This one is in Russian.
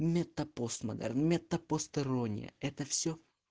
мета постмодерн мета постирония это все